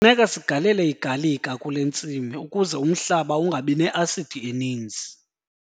Kufuneka sigalele igalika kule ntsimi ukuze umhlaba ungabi ne-asidi eninzi.